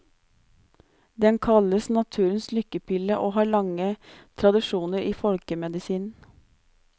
Den kalles naturens lykkepille, og har lange tradisjoner i folkemedisinen.